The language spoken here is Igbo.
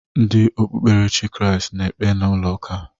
Ndị okpukperechi Kriast na-ekpe n'ụlọ ụka.